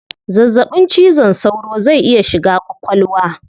Zazzabin cizon saura zai iya shiga kwakwalwa